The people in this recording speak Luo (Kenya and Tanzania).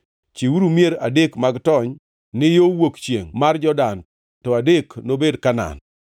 Chiwuru mier adek mag tony ni yo wuok chiengʼ mar Jordan to adek nobed Kanaan.